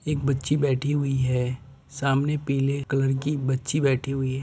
एक बच्ची बैठी हुई है | सामने पीले कलर की बच्ची बैठी हुई है |